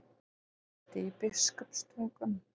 Auðsholti í Biskupstungum.